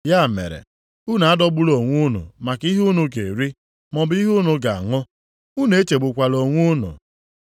Ya mere, unu adọgbula onwe unu maka ihe unu ga-eri maọbụ ihe unu ga-aṅụ. Unu echegbukwala onwe unu.